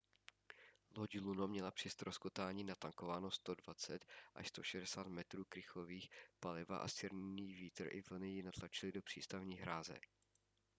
loď luno měla při ztroskotání natankováno 120-160 metrů krychlových paliva a silný vítr i vlny ji natlačily do přístavní hráze